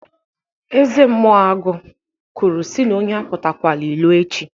Eze mmụọ agụ kwuru si na onye apụtakwọla ilo echi.